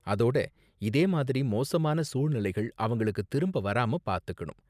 அதோட, இதே மாதிரி மோசமான சூழ்நிலைகள் அவங்களுக்கு திரும்ப வராம பாத்துக்கணும்.